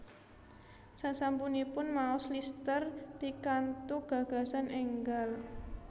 Sasampunipun maos Lister pikantuk gagasan enggal